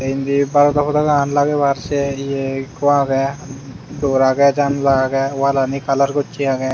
indi barodo podagan lagebar sia he ye ekko agey dor agey jandala agey wallani kalar gocche agey.